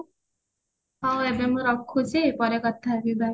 ହଉ ଏବେ ମୁଁ ରଖୁଚି ପରେ କଥା ହେବି bye